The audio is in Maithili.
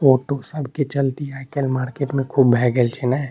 ऑटो सब के चलती आय काएल मार्केट में खूब भैए गेल छै नए।